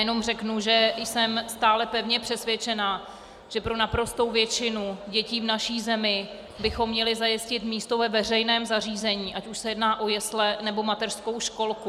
Jenom řeknu, že jsem stále pevně přesvědčená, že pro naprostou většinu dětí v naší zemi bychom měli zajistit místo ve veřejném zařízení, ať už se jedná o jesle, nebo mateřskou školku.